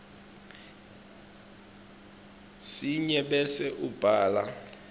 sinye bese ubhala